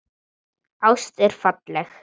Ást er falleg.